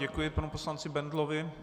Děkuji panu poslanci Bendlovi.